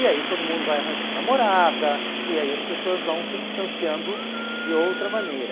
E aí todo mundo vai arranjando namorada, e aí as pessoas vão se distanciando de outra maneira.